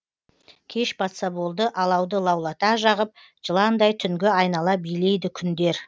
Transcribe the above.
кеш батса болды алауды лаулата жағып жыландай түнгі айнала билейді күндер